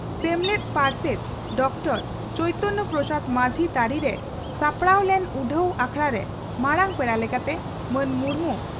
ᱥᱮᱢᱞᱮᱫ ᱯᱟᱨᱥᱮᱛ ᱰᱚᱠᱴᱚᱨ ᱪᱚᱭᱛᱚᱱᱭᱚ ᱯᱨᱚᱥᱟᱫᱽ ᱢᱟᱡᱷᱤ ᱛᱟᱹᱨᱤᱨᱮ ᱥᱟᱯᱲᱟᱣ ᱞᱮᱱ ᱩᱰᱷᱟᱹᱣ ᱟᱠᱷᱲᱟᱨᱮ ᱢᱟᱨᱟᱝ ᱯᱮᱲᱟ ᱞᱮᱠᱟᱛᱮ ᱢᱟᱱ ᱢᱩᱨᱢᱩ